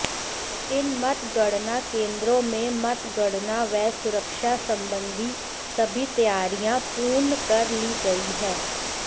इन मतगणना केंद्रों में मतगणना व सुरक्षा संबंधी सभी तैयारियां पूर्ण कर ली गई हैं